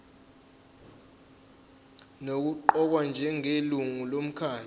nokuqokwa njengelungu lomkhandlu